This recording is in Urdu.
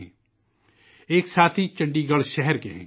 ہمارے دوستوں میں سے ایک کاتعلق چنڈی گڑھ شہر سے ہے